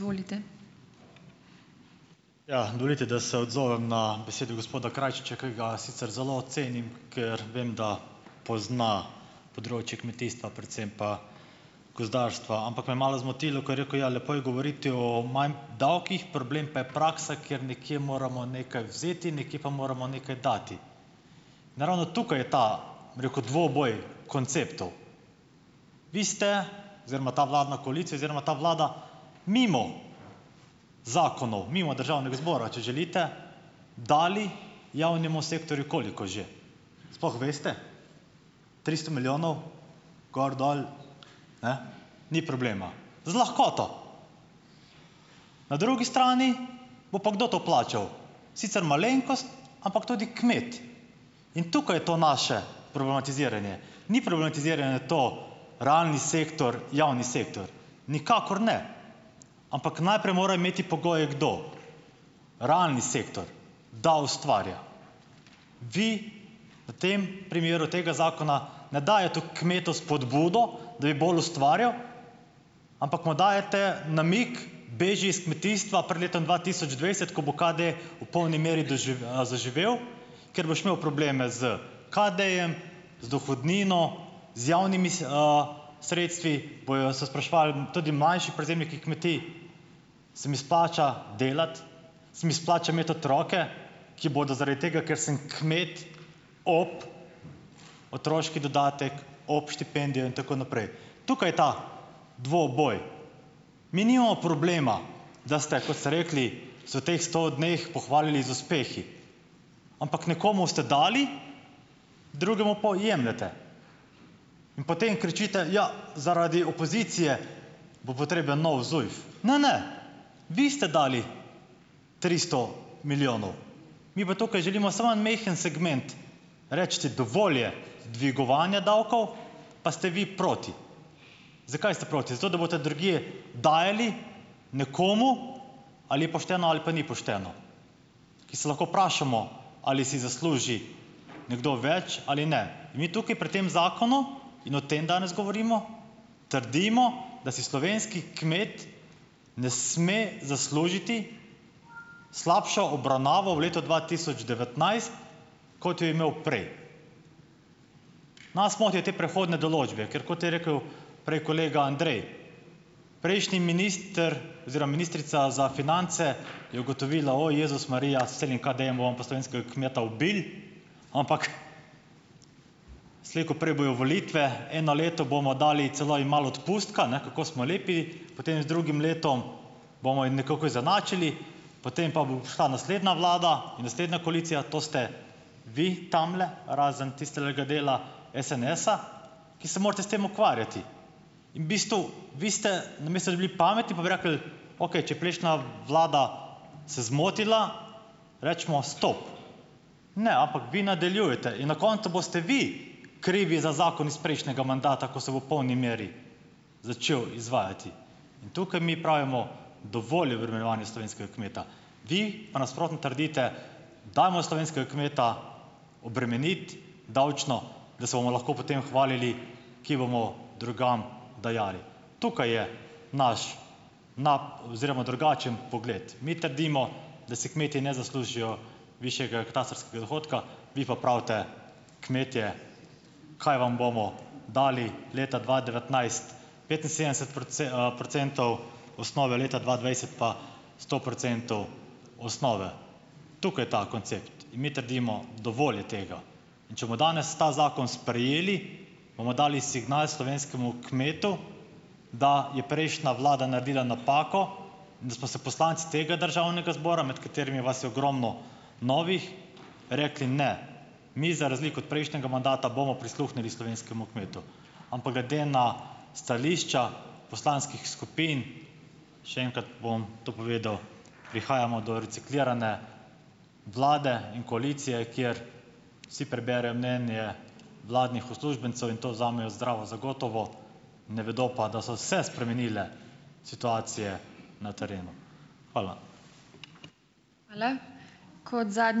Ja, dovolite, da se odzovem na besedo gospoda Krajčiča, ki ga sicer zelo cenim, ker vem, da pozna področje kmetijstva, predvsem pa gozdarstva, ampak me je malo zmotilo, ko je rekel, lepo je govoriti o manj davkih, problem pa je praksa, ker nekje moramo nekaj vzeti, nekje pa moramo nekaj dati. In ravno tukaj je ta, bi rekel, dvoboj konceptov. Vi ste oziroma ta vladna koalicija oziroma ta vlada mimo zakonov, mimo državnega zbora, če želite, dali javnemu sektorju ... Koliko že? Sploh veste? Tristo milijonov, gor dol, ne, ni problema. Z lahkoto. Na drugi strani bo pa kdo to plačal, sicer malenkost, ampak tudi kmet, in tukaj je to naše problematiziranje. Ni problematiziranje to, realni sektor - javni sektor. Nikakor ne, ampak najprej mora imeti pogoje, kdo. Realni sektor, da ustvarja. Vi v tem primeru tega zakona ne dajete kmetu spodbudo, da bi bolj ustvarjal, ampak mu dajete namig, beži iz kmetijstva, pred letom dva tisoč dvajset, ko bo KD v polni meri zaživel, ker boš imel probleme s KD-jem, z dohodnino, z javnimi sredstvi, bojo se spraševali tudi manjši prevzemniki kmetij, se mi splača delati, se mi splača imeti otroke, ki bodo zaradi tega, ker sem kmet, ob otroški dodatek, ob štipendijo in tako naprej. Tukaj je ta dvoboj. Mi nimamo problema, da ste, kot ste rekli, se v teh sto dneh pohvalili z uspehi, ampak nekomu ste dali, drugemu po jemljete. In potem kričite: "Ja, zaradi opozicije bo potreben nov ZUJF." Ne, ne, vi ste dali tristo milijonov, mi pa tukaj želimo samo en majhen segment, recite, dovolj je dvigovanja davkov, pa ste vi proti. Zakaj ste proti? Zato, da boste drugje dajali nekomu, ali je pošteno ali pa ni pošteno, ki se lahko vprašamo ali si zasluži nekdo več ali ne. Mi tukaj pri tem zakonu, in o tem danes govorimo, trdimo, da si slovenski kmet ne sme zaslužiti slabšo obravnavo v letu dva tisoč devetnajst, kot jo je imel prej. Nas motijo te prehodne določbe, ker kot je rekel prej kolega Andrej, prejšnji minister oziroma ministrica za finance je ugotovila, o Jezus Marija, s temi KD-jem bomo pa slovenskega kmeta ubili, ampak slej ko prej bojo volitve, eno leto bomo dali celo jim malo odpustka, ne, kako smo lepi, potem z drugim letom bomo jim nekako izenačili, potem pa bo prišla naslednja vlada, naslednja koalicija, to ste vi tamle, razen tistegale dela SNS-a, ki se morate s tem ukvarjati. In bistvu vi ste, namesto da bi bili pametni, pa bi rekli, okej, če je prejšnja vlada se zmotila, recimo stop. Ne, ampak vi nadaljujete in na koncu boste vi krivi za zakon iz prejšnjega mandata, ko se bo v polni meri začel izvajati. In tukaj mi pravimo, dovolj je obremenjevanja slovenskega kmeta. Vi pa nasprotno trdite, dajmo slovenskega kmeta obremeniti, davčno, da se bomo lahko potem hvalili, kje bomo drugam dajali. Tukaj je naš oziroma drugačen pogled. Mi trdimo, da si kmetje ne zaslužijo višjega katastrskega dohodka, vi pa pravite, kmetje, kaj vam bomo dali leta dva devetnajst, petinsedemdeset procentov osnove leta dva dvajset pa sto procentov osnove. Tukaj ta koncept in mi trdimo, dovolj je tega. In če bo danes ta zakon sprejeli, bomo dali signal slovenskemu kmetu, da je prejšnja vlada naredila napako in da smo se poslanci tega državnega zbora, med katerimi vas je ogromno novih, rekli ne. Mi za razliko od prejšnjega mandata bomo prisluhnili slovenskemu kmetu, ampak glede na stališča poslanskih skupin, še enkrat bom to povedal, prihajamo do reciklirane vlade in koalicije, kjer si preberejo mnenje vladnih uslužbencev in to vzamejo zdravo za gotovo, ne vedo pa, da so se spremenile situacije na terenu. Hvala.